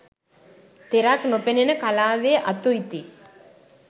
තෙරක් නොපෙනෙන කලාවේ අතු ඉති